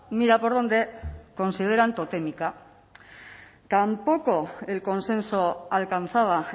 mira por dónde consideran totémica tampoco el consenso alcanzaba a